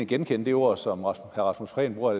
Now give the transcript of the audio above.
genkende det ord som herre rasmus prehn bruger